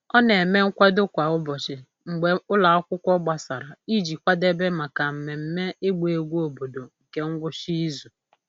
Ọ na-eme nkwado kwa ụbọchị mgbe ụlọ akwụkwọ gbasara iji kwadebe maka mmemme ịgba egwu obodo nke ngwụcha izu.